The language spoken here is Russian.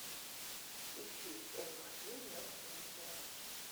ищи м один на телевизоре